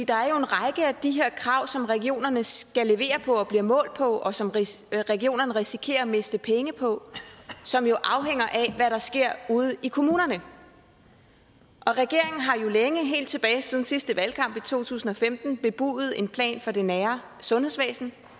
der er jo en række af de her krav som regionerne skal levere på og bliver målt på og som regionerne risikerer at miste penge på som jo afhænger af hvad der sker ude i kommunerne og regeringen har jo længe helt tilbage siden sidste valgkamp i to tusind og femten bebudet en plan for det nære sundhedsvæsen